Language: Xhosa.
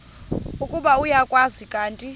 ukuba uyakwazi kanti